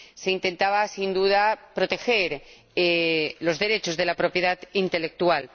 Se intentaba sin duda proteger los derechos de propiedad intelectual.